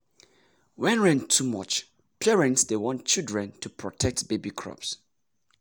when rain too much parents dey warn children to protect baby crops.